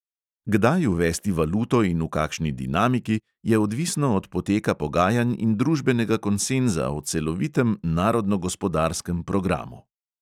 Kdaj uvesti valuto in v kakšni dinamiki, je odvisno od poteka pogajanj in družbenega konsenza o celovitem narodnogospodarskem programu.